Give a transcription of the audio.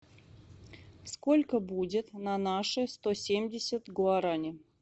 сколько будет на наши сто семьдесят гуарани